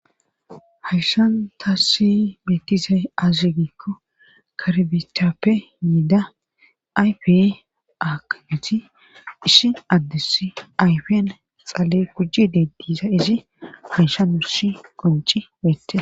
Hayssan taassi bettizay azigikko karbicappe yiida ayfe akiti ishin addes ayfian xale kujji dediza izi hanshanusi qonci beete